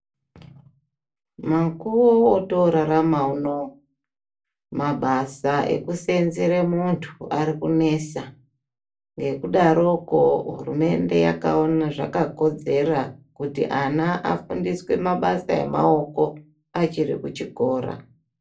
Mukuwo wotorarama unowu mabasa ekuseenzere muntu arikunesa nekudaroko hurumende yakaona zvakakodzera kuti ana afundiswe mabasa emaoko achirikuchikora.